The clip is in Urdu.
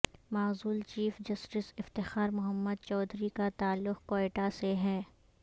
معزول چیف جسٹس افتخار محمد چودھری کا تعلق کوئٹہ سے ہے